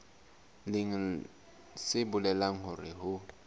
leng se bolelang hore ho